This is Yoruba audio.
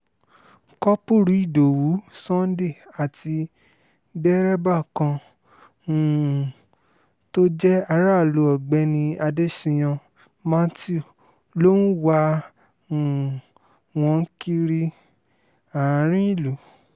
kọ́pùrú ìdòwú sunday àti dẹrẹbà kan um tó jẹ́ aráàlú ọ̀gbẹ́ni adéṣíyàn mathew ló ń wá um wọn káàkiri àárín ìlú